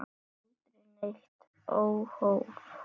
Aldrei neitt óhóf.